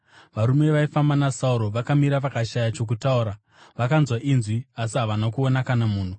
Varume vaifamba naSauro vakamira vakashaya chokutaura; vakanzwa inzwi asi havana kuona kana munhu.